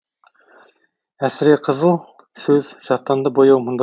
әсіреқызыл сөз жаттанды бояу мұнда